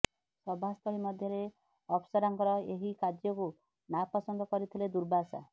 ସଭାସ୍ଥଳୀ ମଧ୍ୟରେ ଅପ୍ସରାରଙ୍କର ଏହି କାର୍ଯ୍ୟକୁ ନାପସନ୍ଦ କରିଥିଲେ ଦୁର୍ବାସା